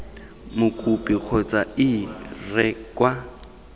mokopi kgotsa ii re kwa